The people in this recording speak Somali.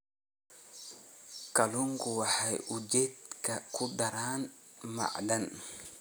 Kalluunku waxa uu jidhka ku daraa macdan